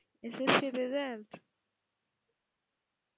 SSC -র result?